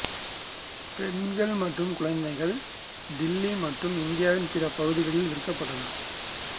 பெண்கள் மற்றும் குழந்தைகள் தில்லி மற்றும் இந்தியாவின் பிற பகுதிகளில் விற்கப்பட்டனர்